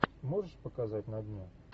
можешь показать на дне